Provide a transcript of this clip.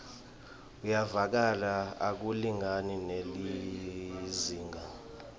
uyevakala akulingani nelizingaa